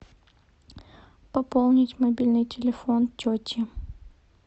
пополнить мобильный телефон тети